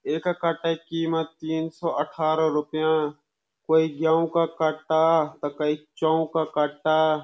एका कट्टा कीमत तीन सो अठारह रुपयां कोई ग्युं का कट्टा ता कई चों का कट्टा।